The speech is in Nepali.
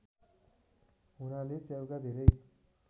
हुनाले च्याउका धेरै